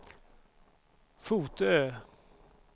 Fotö